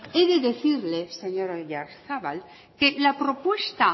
he decirle señor oyarzabal que la propuesta